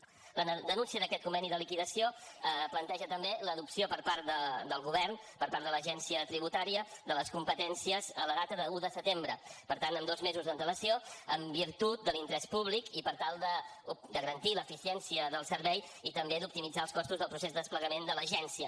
la denúncia d’aquest conveni de liquidació planteja també l’adopció per part del govern per part de l’agència tributària de les competències en data d’un de setembre per tant amb dos mesos d’antelació en virtut de l’interès públic i per tal de garantir l’eficiència del servei i també d’optimitzar els costos del procés de desplegament de l’agència